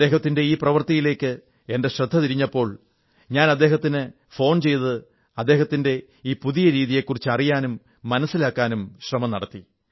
അദ്ദേഹത്തിന്റെ ഈ പ്രവൃത്തിയിലേക്ക് എന്റെ ശ്രദ്ധ തിരിഞ്ഞപ്പോൾ ഞാൻ അദ്ദേഹത്തിന് ഫോൺ ചെയ്ത് അദ്ദേഹത്തിന്റെ ഈ പുതിയ രീതിയെക്കുറിച്ച് അറിയാനും മനസ്സിലാക്കാനും ശ്രമം നടത്തി